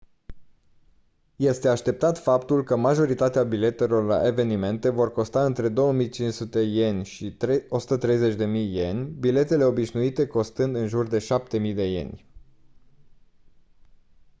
este așteptat faptul că majoritatea biletelor la evenimente vor costa între 2500 ¥ și 130.000 ¥ biletele obișnuite costând în jur de 7000 ¥